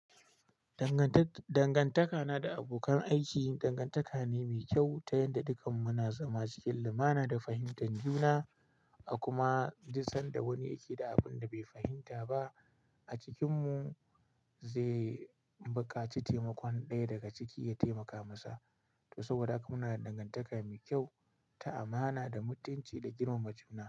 Dangantaka na da abokan aiki dangantaka ne me kyau ta yadda dukkan mu muna zama cikin lumana da fahimtan juna, a kuma duk sanda duk wani yake da abinda bai fahimta ba a cikinmu za zai buƙaci taimakon ɗaya daga ciki ya taimaka masa. To saboda haka muna da dangantaka mai kyau ta amana da mutunci da girmama juna.